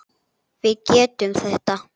Við getum þetta.